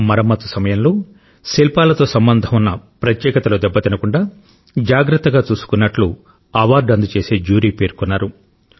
మరమ్మతు సమయంలో శిల్పాలతో సంబంధం ఉన్న ప్రత్యేకతలు దెబ్బతినకుండా జాగ్రత్తగా చూసుకున్నట్టు అవార్డు అందజేసే జ్యూరీ పేర్కొన్నారు